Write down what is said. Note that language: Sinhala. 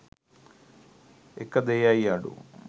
එක දෙයයි අඩු.